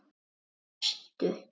Hvar varstu?